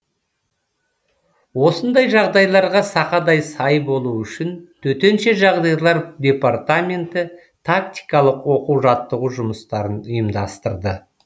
осындай жағдайларға сақадай сай болу үшін төтенше жағдайлар департаменті тактикалық оқу жаттығу жұмыстарын ұйымдастырды